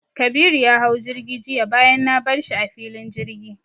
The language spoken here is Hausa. Kabiru ya hau jirgi jiya bayan na bar shi a filin jirgi.